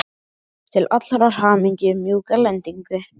Fékk til allrar hamingju mjúka lendingu.